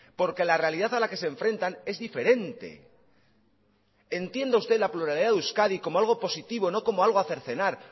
porque la realidad a la que se enfrentan es diferente entienda usted la pluralidad de euskadi como algo positivo no como algo a cercenar